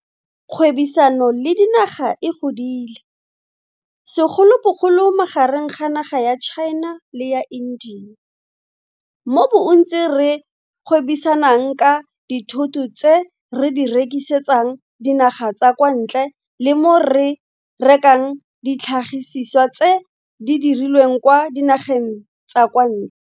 Kgwebisano le dinaga e godile, segolobogolo magareng ga naga ya China le ya India, mo bontsi re gwebisanang ka dithoto tse re di rekisetsang dinaga tsa kwa ntle le mo re rekang ditlhagisiswa tse di dirilweng kwa dinageng tsa kwa ntle.